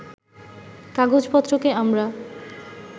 কাগজপত্রকে আমরা